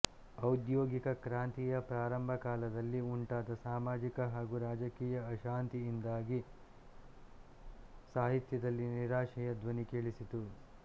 ಔದ್ಯೋಗಿಕ ಕ್ರಾಂತಿಯ ಪ್ರಾರಂಭ ಕಾಲದಲ್ಲಿ ಉಂಟಾದ ಸಾಮಾಜಿಕ ಹಾಗೂ ರಾಜಕೀಯ ಅಶಾಂತಿಯಿಂದಾಗಿ ಸಾಹಿತ್ಯದಲ್ಲಿ ನಿರಾಶೆಯ ಧ್ವನಿ ಕೇಳಿಸಿತು